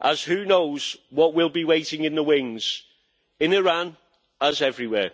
as who knows what will be waiting in the wings in Iran, as everywhere.